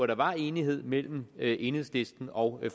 der var enighed mellem enhedslisten og